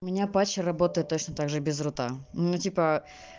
у меня патчи работает точно так же без рута ну типа